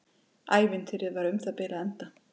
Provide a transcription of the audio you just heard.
Ævintýrið var um það bil að enda.